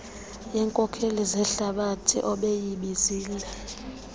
yeenkokeli zehlabathi obeyibizile